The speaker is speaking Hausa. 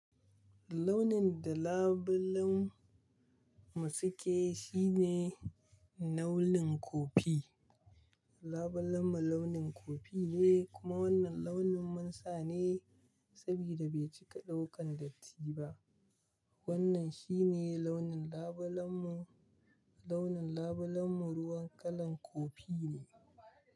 Launin da labulen mu suke shine launin kofi. Labulen mu launin kofi ne kuma wannan launin mun sa ne sabida bai cika ɗaukan datti ba. Wannan shine launin labulen mu, launin labulen mu ruwan kalan kofi ne.